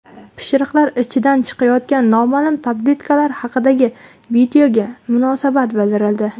Pishiriqlar ichidan chiqayotgani noma’lum tabletkalar haqidagi videoga munosabat bildirildi .